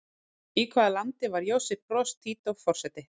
Í hvaða landi var Josip Broz Tito forseti?